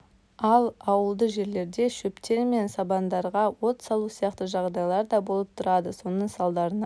ал ауылды жерлерде шөптер мен сабандарға от салу сияқты жағдайлар да болып тұрады соның салдарынан